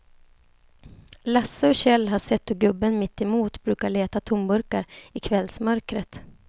Lasse och Kjell har sett hur gubben mittemot brukar leta tomburkar i kvällsmörkret.